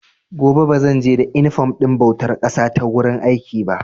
Gobe ba zan je da inifom ɗin bautar ƙasa ta wurin aiki ba.